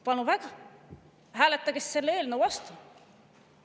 Palun väga, hääletage selle eelnõu vastu!